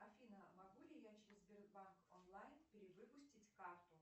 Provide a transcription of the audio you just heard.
афина могу ли я через сбербанк онлайн перевыпустить карту